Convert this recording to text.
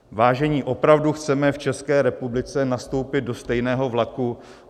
Vážení, opravdu chceme v České republice nastoupit do stejného vlaku?